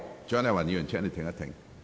蔣麗芸議員，請稍停。